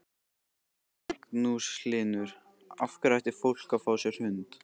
Magnús Hlynur: Af hverju ætti fólk að fá sér hund?